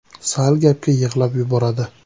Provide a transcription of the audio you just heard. Sal gapga yig‘lab yuboradi.